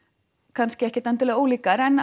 kannski ekkert endilega ólíkar en